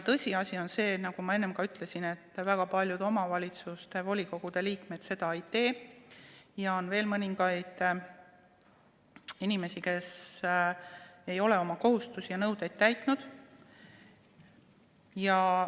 Tõsiasi on see, nagu ma enne ütlesin, et väga paljud omavalitsuste volikogude liikmed seda ei tee ja on veel mõningaid inimesi, kes ei ole oma kohustusi ja nõudeid täitnud.